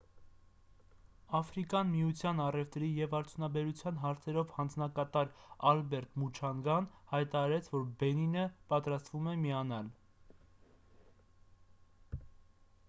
աֆրիկական միության առևտրի և արդյունաբերության հարցերով հանձնակատար ալբերտ մուչանգան հայտարարեց որ բենինը պատրաստվում է միանալ :